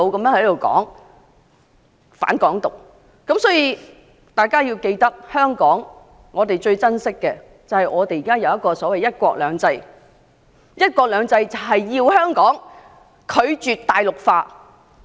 大家必須謹記，香港最寶貴的是現時的"一國兩制"。"一國兩制"的精神，便是香港拒絕大陸化。